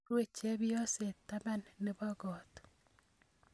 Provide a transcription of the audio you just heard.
rue chepyoset taban nebo kot